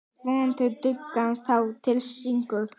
Vonandi dugar það til sigurs.